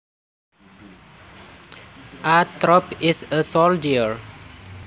A troop is a soldier